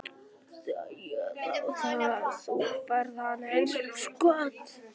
Þú færð hana eins og skot.